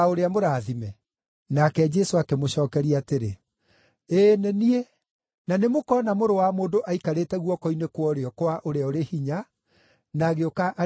Nake Jesũ akĩmũcookeria atĩrĩ, “Ĩĩ nĩ niĩ. Na nĩmũkona Mũrũ wa Mũndũ aikarĩte guoko-inĩ kwa ũrĩo kwa Ũrĩa-ũrĩ-Hinya, na agĩũka arĩ igũrũ rĩa matu.”